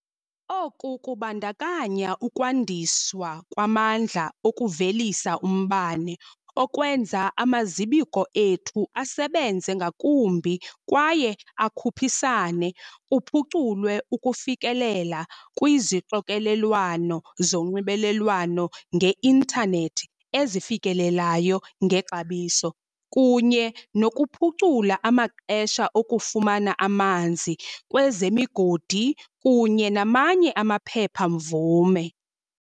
Oku kubandakanya ukwandiswa kwamandla okuvelisa umbane, okwenza amazibuko ethu asebenze ngakumbi kwaye akhuphisane, kuphuculwe ukufikelela kwizixokelelwano zonxibelelwano nge-intanethi ezifikelelekayo ngexabiso, kunye nokuphucula amaxesha okufumana amanzi, kwezemigodi kunye namanye amaphepha-mvume.